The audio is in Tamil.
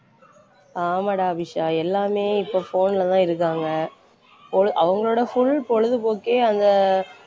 ஆமாடா அபிஷா எல்லாமே இப்ப phone லதான் இருக்காங்க பொழு~ அவங்களோட full பொழுதுபோக்கே அந்த